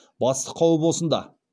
басты қауіп осында